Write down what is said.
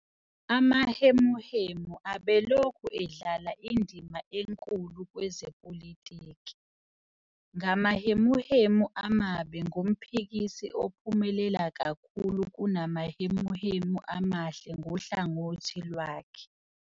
Amahemuhemu abelokhu edlala indima enkulu kwezepolitiki, ngamahemuhemu amabi ngomphikisi ophumelela kakhulu kunamahemuhemu amahle ngohlangothi lwakhe.